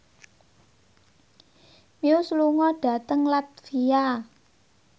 Muse lunga dhateng latvia